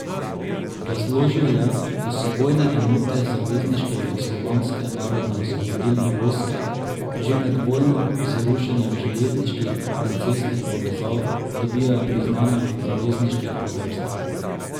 Razložil je, da so vojne enote zavezniške Jugoslovanske narodno osvobodilne vojske že med vojno z rušenjem železniških in cestnih povezav dobile priznanja zavezniških poveljstev.